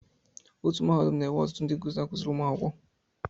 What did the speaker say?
Otu Mahadum na-enwe ọtụtụ ndị nkuzi na-akụziri ụmụ akwụkwọ